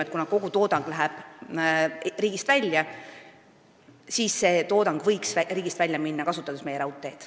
Kuna kogu toodang läheb riigist välja, siis me eeldame, et see võiks riigist välja minna mööda meie raudteed.